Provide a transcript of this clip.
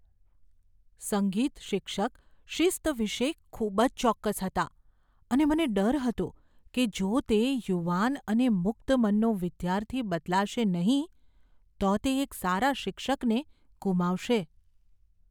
સંગીત શિક્ષક શિસ્ત વિશે ખૂબ જ ચોક્કસ હતા, અને મને ડર હતો કે જો તે યુવાન અને મુક્ત મનનો વિદ્યાર્થી બદલાશે નહીં તો તે એક સારા શિક્ષકને ગુમાવશે.